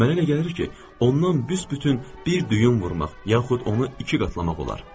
Mənə elə gəlir ki, ondan büsbütün bir düyün vurmaq, yaxud onu iki qatlamaq olar.